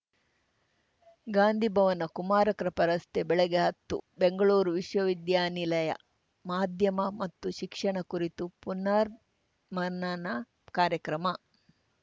ಗಾಂಧೀ ಭವನ ಕುಮಾರಕೃಪಾ ರಸ್ತೆ ಬೆಳಗ್ಗೆ ಹತ್ತು ಬೆಂಗಳೂರು ವಿಶ್ವವಿದ್ಯಾನಿಲಯ ಮಾಧ್ಯಮ ಮತ್ತು ಶಿಕ್ಷಣ ಕುರಿತು ಪುನರ್ ಮನನ ಕಾರ್ಯಕ್ರಮ